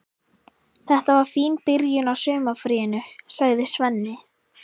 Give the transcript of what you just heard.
Þetta var fín byrjun á sumarfríinu, sagði Svenni.